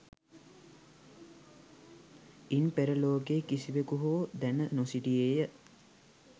ඉන් පෙර ලෝකයේ කිසිවෙකු හෝ දැන නොසිටියේය.